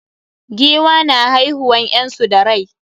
Giwa na haihiuwan ƴyansu da rai.